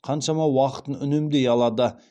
қаншама уақытын үнемдей алады